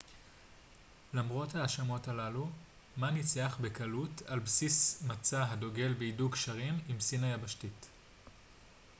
למרות ההאשמות הללו מא ניצח בקלות על בסיס מצע הדוגל בהידוק קשרים עם סין היבשתית